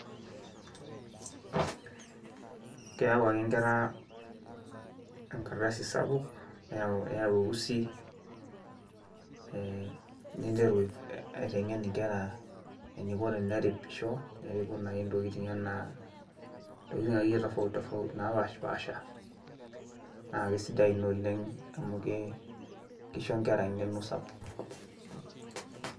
Keyau ake nkera enkrdasi sapuk, neyau eusi, ninteru aiteng'en nkera eniko teneripisho, neripu naake ntokitin akeyie tofauti tofauti napaashipasha naake sidai ina oleng' amu kisho nkera eng'eno sapuk.